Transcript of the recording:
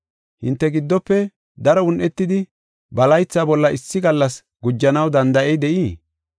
Hinte giddofe daro un7etidi ba laytha bolla issi gallas gujanaw danda7ey de7ii?